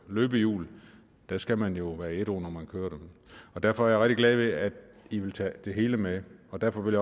løbehjul skal man jo være ædru når man kører på derfor er jeg rigtig glad ved at i vil tage det hele med og derfor vil